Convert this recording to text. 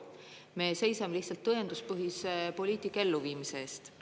Me seisame lihtsalt tõenduspõhise poliitika elluviimise eest.